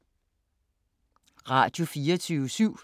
Radio24syv